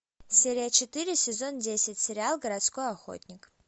серия четыре сезон десять сериал городской охотник